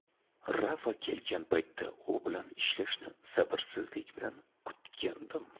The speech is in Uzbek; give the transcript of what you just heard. Rafa kelgan paytda u bilan ishlashni sabrsizlik bilan kutgandim.